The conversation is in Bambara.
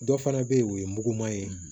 Dɔ fana bɛ yen o ye muguman ye